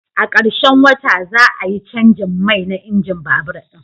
A karshen wata, za a yi canjin mai na injin babur ɗin.